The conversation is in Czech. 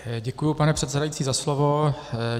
Děkuji, pane předsedající, za slovo.